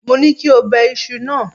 Mo ní kí o bẹ iṣu náà.!